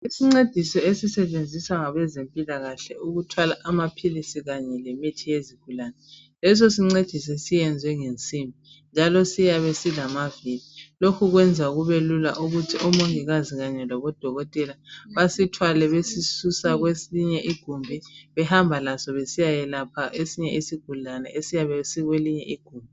Isincediso esisetshenziswa ngabezempilakahle ukuthwala amaphilisi kanye lemithi yezigulane lesisincediso senziwe ngensimbi njalo siyabe silama vili lokhu kwenza kubelula ukuthi omongikazi kanye labodokotela basithwale besisusa kwelinye igumbi behamba laso besiya kwelapha isigulani esiyabe sikwelinye igumbi.